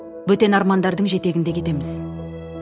бөтен армандардың жетегінде кетеміз